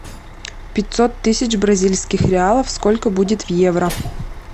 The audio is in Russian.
пятьсот тысяч бразильских реалов сколько будет в евро